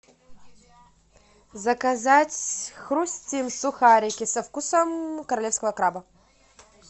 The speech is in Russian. заказать хрустим сухарики со вкусом королевского краба